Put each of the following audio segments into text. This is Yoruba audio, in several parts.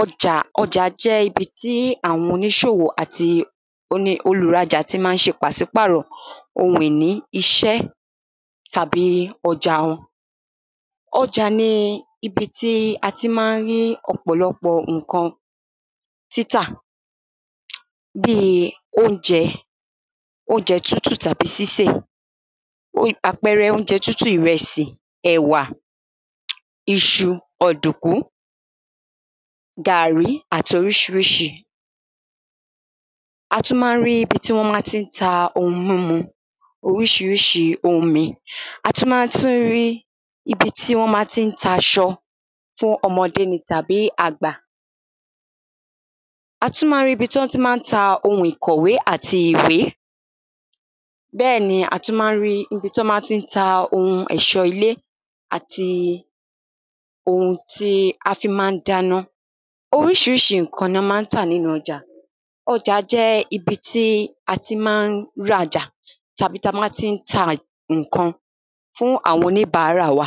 ọjà, ọjà jẹ́ ibi tí àwọn oníṣòwò àti onì, olùrajà ti ma ń ṣe pàsípàrọ̀ ohun ìní, iṣẹ́ tàbí ọjà wọn ọjà ni ibi tí a ti ma ń rí ọ̀pọ̀lọ́pọ̀ ǹkan títà bíi oúnjẹ oúnjẹ tútù tàbí sísè, ó àpẹrẹ oúnjẹ tútù ìrẹsì, ẹ̀wà iṣu, ọ̀dùkú gàrí àti oríṣiríṣi. a tún ma ń rí ibi tí wọ́n tán ma ti ń ta ohun múmu, oríṣiríṣi omi, a tún ma tún rí ibi tí wọ́n ma tí ń ta aṣọ ṣe ọmọdé ni tàbí àgbà a tún ma ń rí ibi tọ́n ma tí ń ta ohun ìkọ̀wé àti ìwé bẹ́ẹ̀ni a tún ma ń rí ibi tọ́n ma tín ta ohun ẹ̀ṣọ́ ilé àti ohun tí a fi ma ń dáná oríṣiríṣi ǹkan nọ́ ma ń tà nínú ọjà, ọjà jẹ́ ibi tí a ti ma ń rajà tàbí táa má tíń ta ǹkan fún àwọn oníbárà wa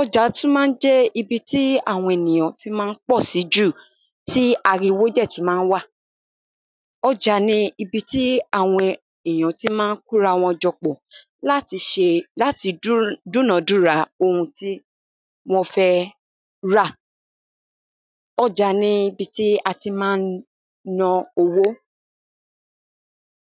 ọjà tún ma ń jẹ́ ibi tí àwọn ènìyàn ti ma ń pọ̀ sí jù tí ariwo dẹ̀ tún ma ń wà ọjà ni ibi tí àwọn èyàn ti ma ń kórawọn jọpọ̀ láti ṣe láti dúnàdúra ohun tí wọ́n fẹ́ rà ọjà ni ibi tí a ti ma ń ná owó